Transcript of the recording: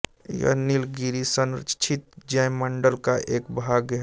यह नीलगिरि संरक्षित जैवमंडल का एक भाग है